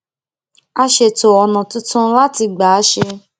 a ṣètò ònà tuntun láti gbà ṣe é